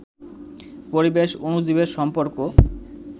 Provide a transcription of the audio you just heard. পরিবেশ, অণুজীবের সম্পর্ক